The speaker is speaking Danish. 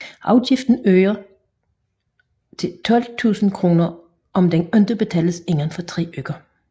Afgiften øger til 12 000 kr om den ikke betales inden for tre uger